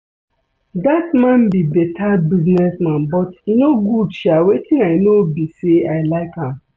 Dat man be beta business man but e no good sha wetin I know be say I like am